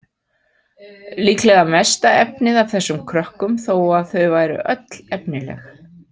Líklega mesta efnið af þessum krökkum þó að þau væru öll efnileg.